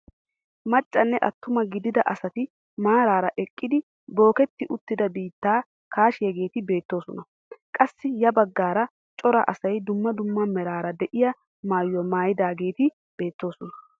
Maccanne attuma gidida asati maarara eqqidi booketti uttida biittaa kaashiyaageti beettoosona. qassi ya baggaara cora asay dumma dumma meraara de'iyaa maayuwaa maayidageti beettoosona.